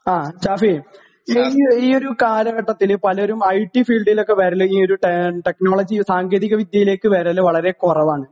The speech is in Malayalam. ആ ഷാഫി ഈ ഒരു കാലഘട്ടത്തില് പലരും ഐ ടി ഫീൽഡിലൊക്കെ വരല് ഈ ഒരു ടെക്നോളജി സാങ്കേതിക വിദ്യയിലേക്ക് വരല് വളരെ കുറവാണ്